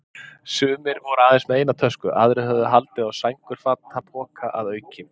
Sumir voru aðeins með eina tösku, aðrir höfðu haldið á sængurfatapoka að auki.